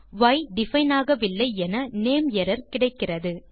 ய் define ஆகவில்லை என name error கிடைக்கிறது